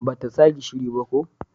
Ba ta sa gishiri ba ko?